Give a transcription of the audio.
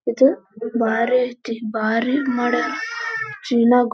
ಇದು ಬಾರಿ ಅಯ್ತಿ ಬಾರಿ ಮಾಡ್ಯಾರ ಚೀನಾ--